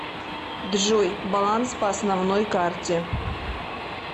джой баланс по основной карте